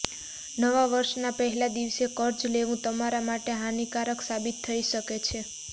નવા વર્ષના પહેલા દિવસે કર્જ લેવુ તમારે માટે હાનિકારક સાબિત થઈ શકે છે